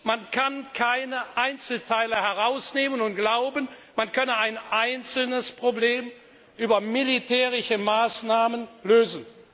Man kann keine Einzelteile herausnehmen und glauben, man könne ein einzelnes Problem mit militärischen Maßnahmen lösen.